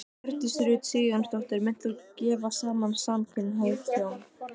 Hjördís Rut Sigurjónsdóttir: Munt þú gefa saman samkynhneigð hjón?